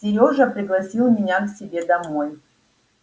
сережа пригласил меня к себе домой